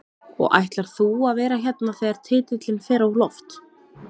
Og ætlar þú að vera hérna þegar titilinn fer á loft?